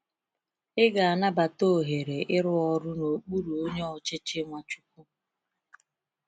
Ị ga-anabata ohere ịrụ ọrụ n’okpuru onye ochichi Nwachukwu?